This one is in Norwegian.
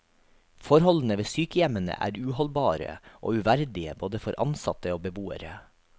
Forholdene ved sykehjemmene er uholdbare og uverdige både for ansatte og beboere.